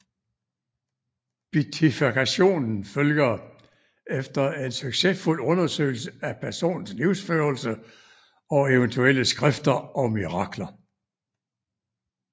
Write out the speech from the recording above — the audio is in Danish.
Beatifikationen følger efter en succesfuld undersøgelse af personens livsførelse og eventuelle skrifter og mirakler